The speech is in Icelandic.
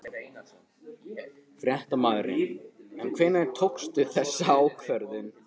Fréttamaður: En hvenær tókstu þessa ákvörðun?